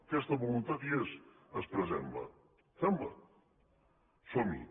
aquesta voluntat hi és expressem la fem la som hi